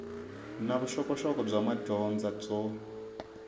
na vuxokoxoko bya madyondza byo